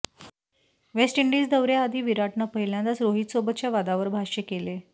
waste Indies दौऱ्याआधी विराटनं पहिल्यांदाच रोहितसोबतच्या वादावर भाष्य केले